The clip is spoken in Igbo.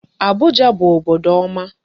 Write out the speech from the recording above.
Abuja bụ obodo ọma.